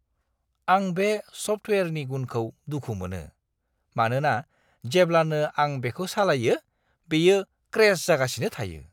आं बे सफ्टवेयारनि गुनखौ दुखु मोनो, मानोना जेब्लानो आं बेखौ सालायो, बेयो क्रेश जागासिनो थायो।